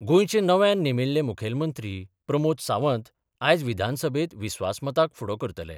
गोंयचे नव्यान नेमिल्ले मुखेलमंत्री प्रमोद सावंत आयज विधानसभेत विस्वासमताक फुडो करतले.